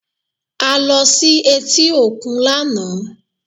A lọ sí etí òkun lánàá